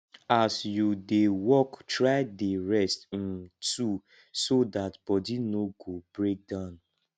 as yu dey work try dey rest um too so dat body no go break down